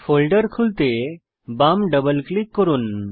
folder খুলতে বাম double click করুন